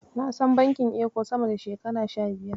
Na san bankin Eco sama da shekara goma sha biyar.